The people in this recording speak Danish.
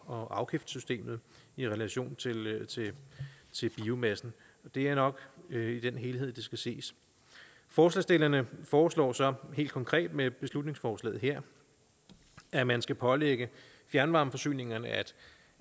og afgiftssystemet i relation til biomassen det er nok i den helhed det skal ses forslagsstillerne foreslår så helt konkret med beslutningsforslaget her at man skal pålægge fjernvarmeforsyningerne at